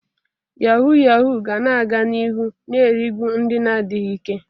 Yahuu yahuu ga na-aga n'ihu na-erigbu ndị na-adịghị ike.